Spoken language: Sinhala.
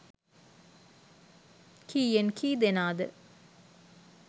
කීයෙන් කී දෙනාද.